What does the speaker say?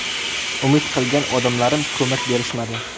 Umid qilgan odamlarim ko‘mak berishmadi.